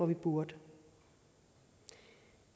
vi burde